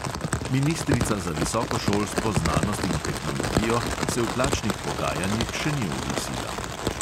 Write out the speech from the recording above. Ministrica za visoko šolstvo, znanost in tehnologijo se v plačnih pogajanjih še ni oglasila.